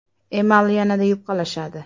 Emal yanada yupqalashadi.